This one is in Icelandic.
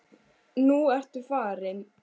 Nú ertu farin.